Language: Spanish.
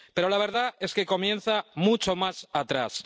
Pero la verdad es que comienza mucho más atrás.